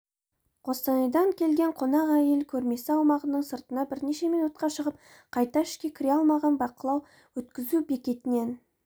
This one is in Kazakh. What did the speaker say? қостанайдан келген қонақ әйел көрмесі аумағының сыртына бірнеше минутқа шығып қайта ішке кіре алмаған бақылау-өткізу бекетінен